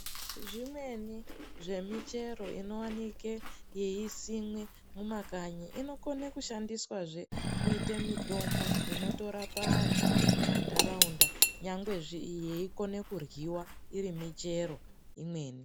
Zvimweni zvemichero ino wanike yei simwe muma kanyi inokone kushandiswa zve kuite mitombo inoto rapa andu muma ndaraunda nyangwe yeikona kudyiwa iri michero imweni .